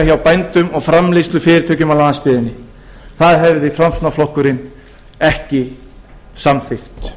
bændum og framleiðslufyrirtækjum á landsbyggðinni það hefði framsóknarflokkurinn ekki samþykkt